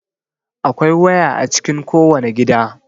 Akwai waya a cikin kowane gida.